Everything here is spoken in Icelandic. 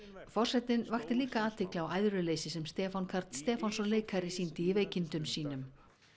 forsetinn vakti athygli á æðruleysi sem Stefán Karl Stefánsson leikari sýndi í veikindum sínum